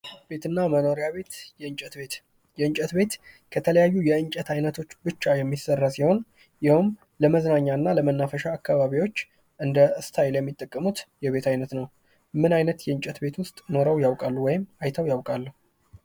ቤትና መኖሪያ ቤት የእንጨት ቤት የእንጨት ቤት ከተለያዩ የእንጨት አይነቶች ብቻ የሚሰራ ሲሆን ይኸውም ለመዝናኛና ለመናፈሻ አካባቢዎች እንደ ስታይል የሚጠቀሙት የቤት አይነት ነው። ምን አይነት የእንጨት ቤት ውስጥ ኑረው ያውቃሉ? ወይም አይተው ያውቃሉ?